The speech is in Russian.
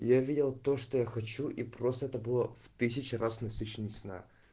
я видел то что я хочу и просто это было в тысячу раз насыщенней сна